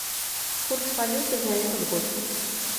курс валюты за этот год